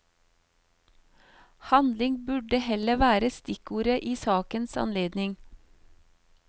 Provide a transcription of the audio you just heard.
Handling burde heller være stikkordet i sakens anledning.